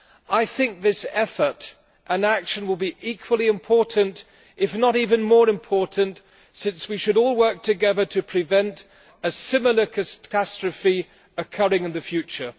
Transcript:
I think this effort and action will be equally important, if not even more important, since we should all work together to prevent a similar catastrophe occurring in the future.